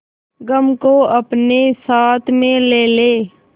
गम को अपने साथ में ले ले